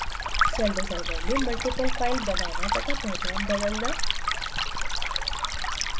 celldesigner में multiple file बनाना तथा पहचान बदलना